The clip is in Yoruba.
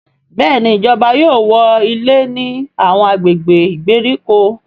Béèni ìjọba yóò wọ ilé ní Àwọn agbègbè ìgbèríko.